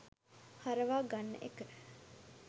හරවා ගන්න එක.